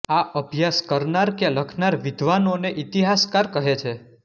આ અભ્યાસ કરનાર કે લખનાર વિદ્ધાનોને ઇતિહાસકાર કહે છે